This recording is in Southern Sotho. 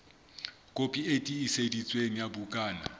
kopi e tiiseditsweng ya bukana